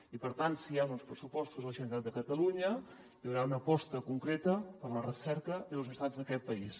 i per tant si hi han uns pressupostos a la generalitat de catalunya hi haurà una aposta concreta per a la recerca i les universitats d’aquest país